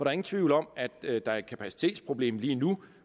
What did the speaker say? er ingen tvivl om at der er et kapacitetsproblem lige nu